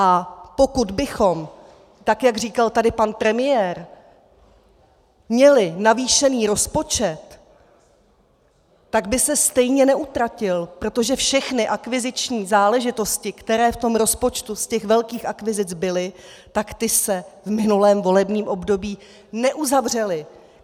A pokud bychom, tak jak říkal tady pan premiér, měli navýšený rozpočet, tak by se stejně neutratil, protože všechny akviziční záležitosti, které v tom rozpočtu z těch velkých akvizic byly, tak ty se v minulém volebním období neuzavřely.